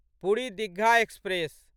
Puri Digha express